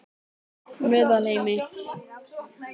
Meðalheimi